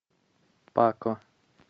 пако